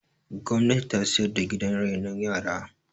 gwamnati ta siyar da gidan renon yara